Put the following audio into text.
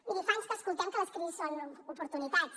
miri fa anys que escoltem que les crisis són oportunitats